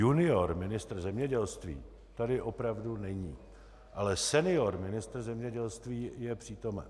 Junior ministr zemědělství tady opravdu není, ale senior ministr zemědělství je přítomen.